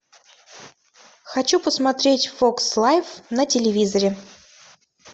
хочу посмотреть фокс лайф на телевизоре